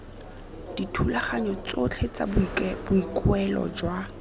dithulaganyo tsotlhe tsa boikuelo jwa